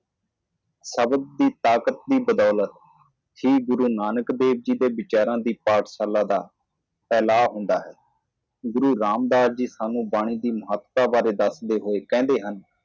ਸ਼ਬਦਾਂ ਦੀ ਸ਼ਕਤੀ ਦੁਆਰਾ ਸ਼੍ਰੀ ਗੁਰੂ ਨਾਨਕ ਦੇਵ ਜੀ ਦਾ ਵਿਚਾਰ ਦੇ ਸਕੂਲ ਇਹ ਫੈਲਦਾ ਹੈ ਗੁਰੂ ਰਾਮਦਾਸ ਜੀ ਸਾਨੂੰ ਬਾਣੀ ਦੀ ਮਹੱਤਤਾ ਬਾਰੇ ਦੱਸਦੇ ਹਨ। ਇਹ ਦੱਸਦੇ ਹੋਏ ਕਿ